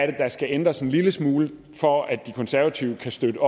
det der skal ændres en lille smule for at de konservative kan støtte